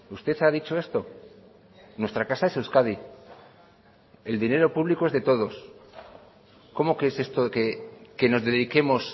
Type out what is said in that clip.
usted ha dicho esto nuestra casa es euskadi el dinero público es de todos cómo que es esto que nos dediquemos